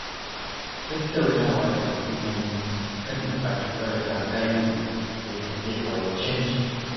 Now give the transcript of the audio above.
Tattaunawa da hukumomi kan buƙatun marasa galihu yana iya kawo canji.